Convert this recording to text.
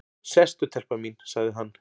"""Sestu telpa mín, sagði hann."""